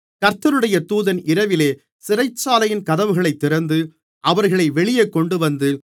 கர்த்தருடைய தூதன் இரவிலே சிறைச்சாலையின் கதவுகளைத் திறந்து அவர்களை வெளியே கொண்டுவந்து